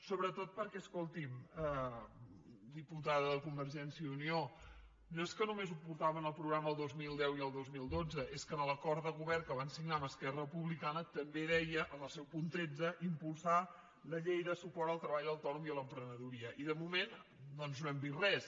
sobretot perquè escolti’m diputada de convergència i unió no és que només ho portava en el programa el dos mil deu i el dos mil dotze és que en l’acord de govern que van signar amb esquerra republicana també deia en el seu punt tretze impulsar la llei de suport al treball autònom i a l’emprenedoria i de moment doncs no hem vist res